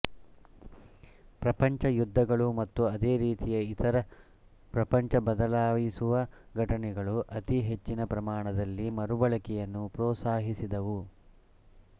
ಪ್ರಪಂಚ ಯುದ್ಧಗಳು ಮತ್ತು ಅದೇ ರೀತಿಯ ಇತರ ಪ್ರಪಂಚಬದಲಾಯಿಸುವ ಘಟನೆಗಳು ಅತಿಹೆಚ್ಚಿನ ಪ್ರಮಾಣದಲ್ಲಿ ಮರುಬಳಕೆಯನ್ನು ಪ್ರೋತ್ಸಾಹಿಸಿದವು